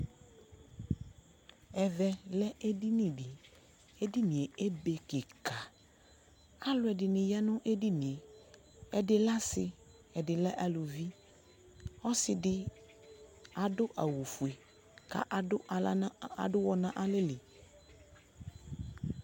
ɛvɛ lɛ edini di edinie be keka alo ɛdini ya no edinie ɛdi lɛ ase ɛdi lɛ aluvi ɔse di ado awu fue ko ado ala no ado uwɔ no alɛ li